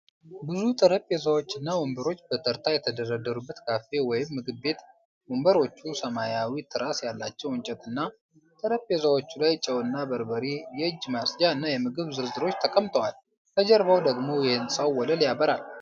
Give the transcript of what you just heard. ብዙ ጠረጴዛዎች እና ወንበሮች በተርታ የተደረደሩበት ካፌ ወይም ምግብ ቤት፣ ወንበሮቹ ሰማያዊ ትራስ ያላቸው እንጨትና፣ ጠረጴዛዎቹ ላይ ጨውና በርበሬ፣ የእጅ ማጽጃ እና የምግብ ዝርዝሮች ተቀምጠዋል። ከጀርባው ደግሞ የሕንፃው ወለል ያበራል።